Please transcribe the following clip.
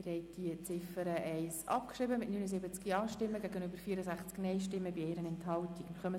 Sie haben die Ziffer 1 mit 79 Ja- gegenüber 64 Nein-Stimmen bei 1 Enthaltung abgeschrieben.